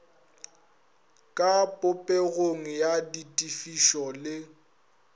ka popegong ya ditefišo le